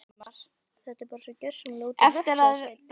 Þetta er bara svo gjörsamlega út í hött sagði Svein